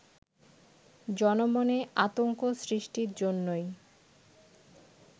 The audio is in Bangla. জনমনে আতঙ্ক সৃষ্টির জন্যেই